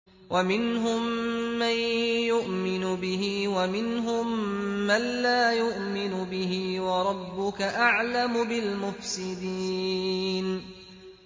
وَمِنْهُم مَّن يُؤْمِنُ بِهِ وَمِنْهُم مَّن لَّا يُؤْمِنُ بِهِ ۚ وَرَبُّكَ أَعْلَمُ بِالْمُفْسِدِينَ